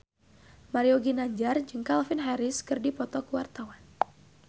Mario Ginanjar jeung Calvin Harris keur dipoto ku wartawan